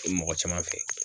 Ko mɔgɔ caman fɛ.